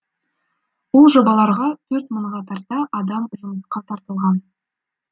ол жобаларға төрт мыңға тарта адам жұмысқа тартылған